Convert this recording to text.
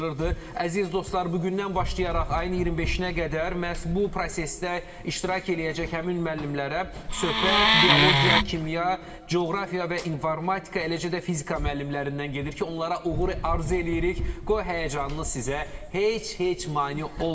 Əziz dostlar, bu gündən başlayaraq ayın 25-nə qədər məhz bu prosesdə iştirak eləyəcək həmin müəllimlərə söhbət biologiya, kimya, coğrafiya və informatika, eləcə də fizika müəllimlərindən gedir ki, onlara uğur arzu eləyirik, qoy həyəcanınız sizə heç-heç mane olmasın.